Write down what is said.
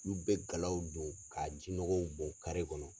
N'u bɛ galaw don ka ji nɔgɔw bɔn kɔnɔ.